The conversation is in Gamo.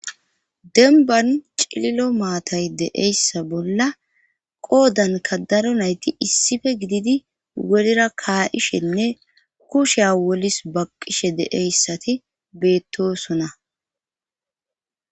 Dembban cillo maatay deeyssa bolla qoodanka daro nayti issife gididi worra kaa7ishenne kusheya wolis baqqishe deeyssati beettosona.